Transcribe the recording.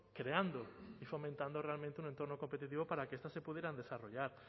creando y fomentando realmente un entorno competitivo para que estas se pudieran desarrollar